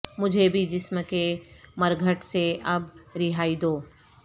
مجھے بھی جسم کے مرگھٹ سے اب رہائی دو